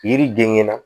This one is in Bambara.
Yiri denkɛ na